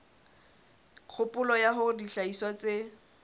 kgopolo ya hore dihlahiswa tse